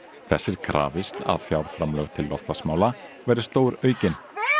þess er krafist að fjárframlög til loftslagsmála verði stóraukin